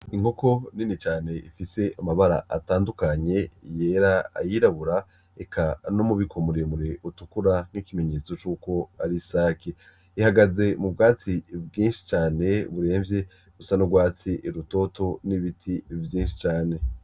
Inkoko nini cane ifise amabara atandukanye yera, ayirabura, eka n'umubiko muremure utukura, ari ikimenyetso c'uko ari isake. ihagaze mu bwatsi bwinshi cane buremvye, busa n'urwatsi rutoto n'ibiti vyinshi cane.